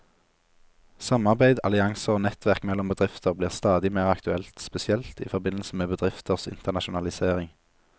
Samarbeid, allianser og nettverk mellom bedrifter blir stadig mer aktuelt, spesielt i forbindelse med bedrifters internasjonalisering.